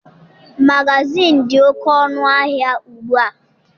Magazịịnụ dị oké ọnụ ahịa ugbu a.